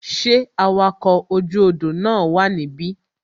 Ṣé awakọ̀ oju odò na wa nibi?